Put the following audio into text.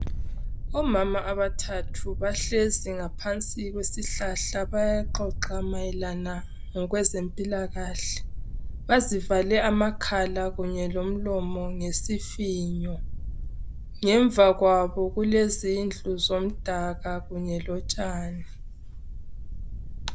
Omama abathathu bahlezi ngaphansi kwesihlahla bayaxoxa mayelana okwezempilakahle bazivale amakhala kunye lomlomo ngesifinyo ngemva kwabo kulezindlu zomdaka kunye lotshani.